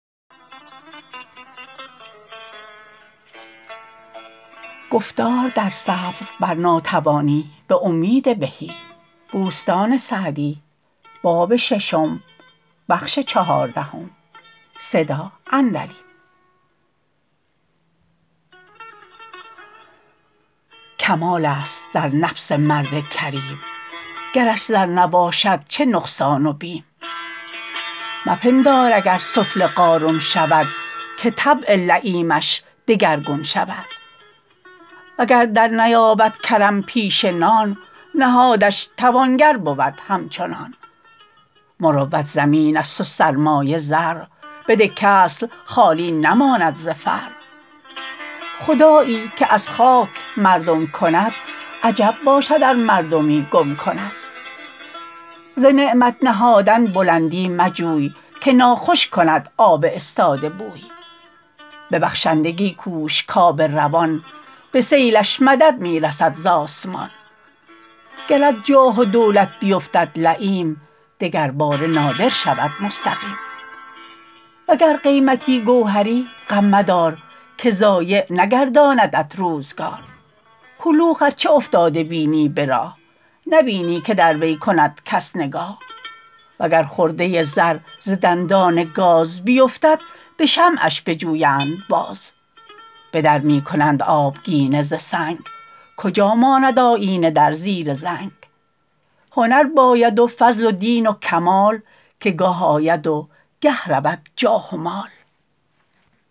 کمال است در نفس مرد کریم گرش زر نباشد چه نقصان و بیم مپندار اگر سفله قارون شود که طبع لییمش دگرگون شود وگر درنیابد کرم پیشه نان نهادش توانگر بود همچنان مروت زمین است و سرمایه زرع بده کاصل خالی نماند ز فرع خدایی که از خاک مردم کند عجب باشد ار مردمی گم کند ز نعمت نهادن بلندی مجوی که ناخوش کند آب استاده بوی به بخشندگی کوش کآب روان به سیلش مدد می رسد ز آسمان گر از جاه و دولت بیفتد لییم دگر باره نادر شود مستقیم وگر قیمتی گوهری غم مدار که ضایع نگرداندت روزگار کلوخ ار چه افتاده بینی به راه نبینی که در وی کند کس نگاه و گر خرده زر ز دندان گاز بیفتد به شمعش بجویند باز به در می کنند آبگینه ز سنگ کجا ماند آیینه در زیر زنگ هنر باید و فضل و دین و کمال که گاه آید و گه رود جاه و مال